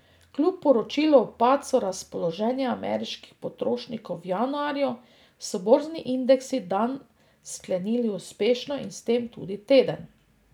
Kljub poročilu o padcu razpoloženja ameriških potrošnikov v januarju so borzni indeksi dan sklenili uspešno in s tem tudi teden.